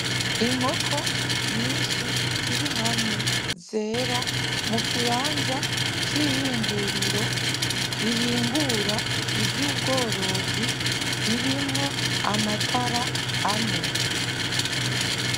Inkoko nyishi ziri hamwe zera mu kibanza c'ihinguriro rihingura ivyubworozi ririmwo amatara ane.